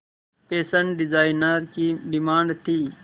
fashion designer की demand थी